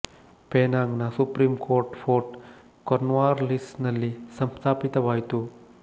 Penang ನ supreme court fort Cornwallis ನಲ್ಲಿ ಸಂಸ್ಥಾಪಿತವಾಯಿತು